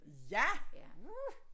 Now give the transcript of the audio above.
Ja uh